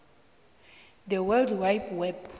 the world wide web